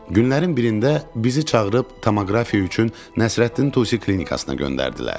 Günlərin birində bizi çağırıb tomoqrafiya üçün Nəsrəddin Tusi klinikasına göndərdilər.